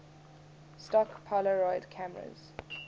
stock polaroid cameras